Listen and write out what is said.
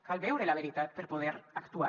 cal veure la veritat per poder actuar